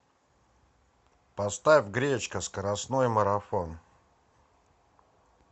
поставь гречка скоростной марафон